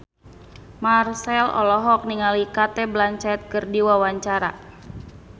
Marchell olohok ningali Cate Blanchett keur diwawancara